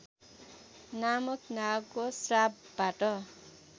नामक नागको श्रापबाट